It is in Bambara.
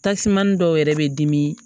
Tasiman dɔw yɛrɛ bɛ dimi